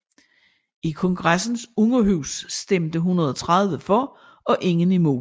I kongressens underhus stemte 130 for og ingen imod